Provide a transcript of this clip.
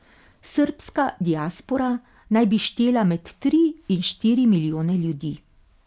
Srbska diaspora naj bi štela med tri in štiri milijone ljudi.